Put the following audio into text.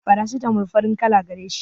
farasitamol farin kala gareshi